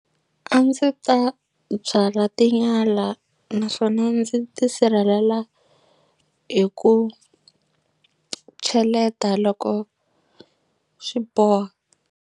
A ndzi ta byala tinyala naswona ndzi tisirhelela hi ku cheleta loko swi boha.